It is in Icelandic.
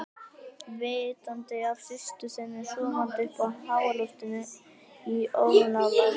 Vitandi af systur sinni sofandi uppi á loftinu í ofanálag?